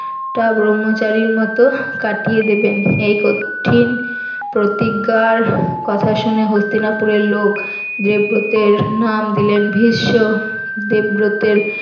তা ব্রম্মচারীর মতন কাটিয়ে দিবেন এই কঠিন প্রতিজ্ঞার কথা শুনে হস্তিনাপুরের লোক দেবব্রতের নাম দিলেন ভীষ্ম দেবব্রতের